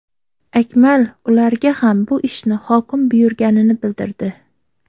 Akmal ularga ham bu ishni hokim buyurganini bildirdi.